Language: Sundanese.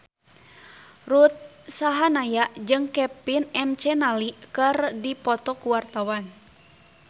Ruth Sahanaya jeung Kevin McNally keur dipoto ku wartawan